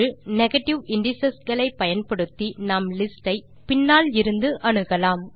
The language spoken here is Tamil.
நெகேட்டிவ் இண்டிஸ் களை பயன்படுத்தி நாம் லிஸ்ட் ஐ பின்னாலிருந்து அணுகலாம்